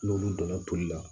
N'olu donna toli la